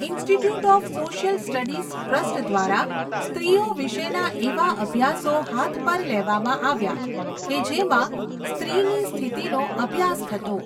Institute of social studies trust દ્વારા, સ્ત્રીઓ વિશેના એવા અભ્યાસો હાથ પર લેવામાં આવ્યા, કે જેમાં સ્ત્રીની સ્થિતિનો અભ્યાસ થતો.